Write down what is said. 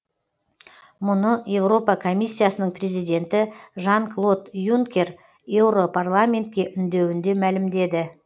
мұны еуропа комиссиясының президенті жан клод юнкер еуропарламентке үндеуінде мәлімдеді